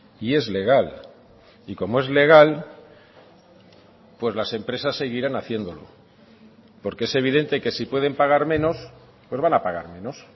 y es legal y como es legal pues las empresas seguirán haciéndolo porque es evidente que si pueden pagar menos pues van a pagar menos